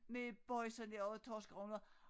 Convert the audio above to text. Med boisa der og torskerogn og